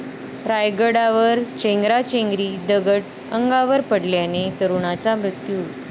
रायगडावर चेंगराचेंगरी, दगड अंगावर पडल्याने तरुणाचा मृत्यू